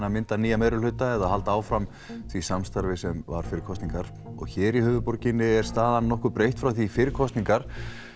að mynda nýja meirihluta eða halda áfram því samstarfi sem var fyrir kosningar hér í höfuðborginni er staðan nokkuð breytt frá því fyrir kosningar